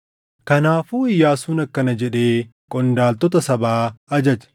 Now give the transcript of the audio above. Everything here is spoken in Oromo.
Kanaafuu Iyyaasuun akkana jedhee qondaaltota sabaa ajaje: